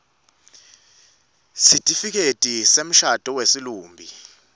sesitifiketi semshado wesilumbi